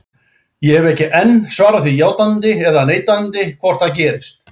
Ég hef ekki enn svarað því játandi eða neitandi hvort það gerist.